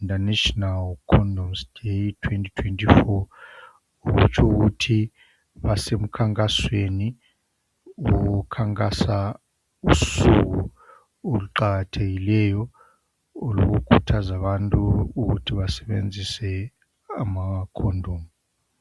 International Condoms Day 2024.Kutsho ukuthi basemkhankasweni wokukhankasa usuku oluqakathekileyo lokukhuthaza abantu ukuthi basebenzise ama condom.